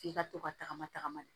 F'i ka to ka tagama tagama de